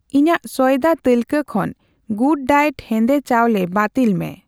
ᱤᱧᱟᱜ ᱥᱚᱭᱫᱟ ᱛᱟᱹᱞᱠᱟᱹ ᱠᱷᱚᱱ ᱜᱩᱰᱰᱟᱭᱮᱴ ᱦᱮᱸᱫᱮ ᱪᱟᱣᱞᱮ ᱵᱟᱹᱛᱤᱞ ᱢᱮ ᱾